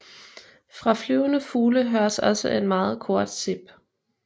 Fra flyvende fugle høres også et meget kort sip